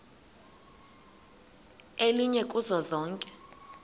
elinye kuzo zonke